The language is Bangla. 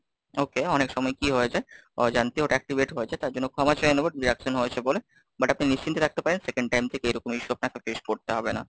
okay, অনেক সময় কি হয়ে যায় অজান্তে ওটা Activate হয়েছে, তার জন্য ক্ষমা চেয়ে নেবো, deduction হয়েছে বলে? butt আপনি নিশ্চিন্তে থাকতে পারেন, Second time থেকে এরকমই issue আপনার face করতে হবে না।